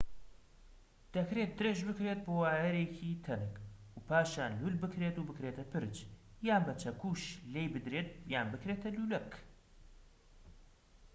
دەکرێت درێژ بکرێت بۆ وایەرێکی تەنک و پاشان لول بکرێت و بکرێتە پرچ یان بە چەکوش لێی بدرێت یان بکرێتە لولەک